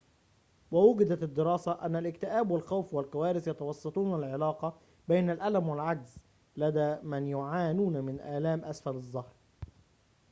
ووجدت الدراسة أن الاكتئاب والخوف والكوارث يتوسطون العلاقة بين الألم والعجز لدى من يعانون من آلام أسفل الظهر